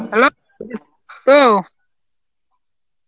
hello, ও